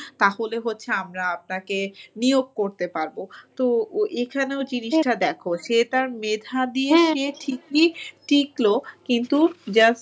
তাহলে হচ্ছে আমরা আপনাকে নিয়োগ করতে পারবো। তো এখানেও দ্যাখো সে তার মেধা সে ঠিকই টিকলো কিন্তু just,